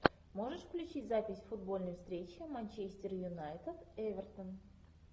можешь включить запись футбольной встречи манчестер юнайтед эвертон